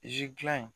Zidilan in